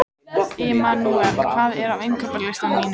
Immanúel, hvað er á innkaupalistanum mínum?